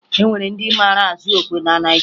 E nwere ndị mara azụ okwe na Naịjirịa